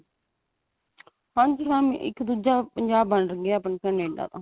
ਹਾਂਜੀ ਹਾਂ ਇੱਕ ਦੁੱਜਾ ਪੰਜਾਬ ਬਣ ਗਿਆ ਕਨੇਡਾ ਤਾਂ